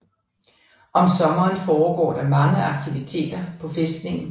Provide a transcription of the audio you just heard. Om sommeren foregår der mange aktiviteter på fæstningen